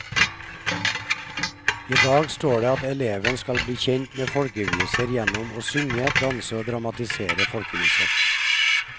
I dag står det at eleven skal bli kjent med folkeviser gjennom å synge, danse og dramatisere folkeviser.